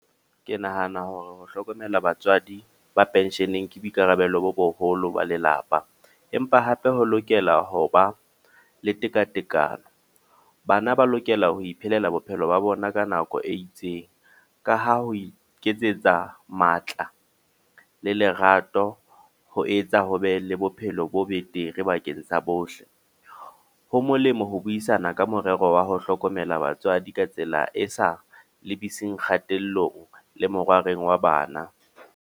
Ke nahana hore ho hlokomela batswadi ba pension-eng, ke boikarabelo bo boholo ba lelapa. Empa hape ho lokela hoba le tekatekano. Bana ba lokela ho iphelela bophelo ba bona ka nako e itseng. Ka ha ho iketsetsa matla le lerato, ho etsa ho be le bophelo bo betere bakeng sa bohle. Ho molemo ho buisana ka morero wa ho hlokomela batswadi ka tsela e sa lebiseng kgatellong le morwareng wa bana.